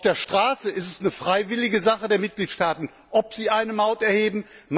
Auf der Straße ist es eine freiwillige Sache der Mitgliedstaaten, ob sie eine Maut erheben.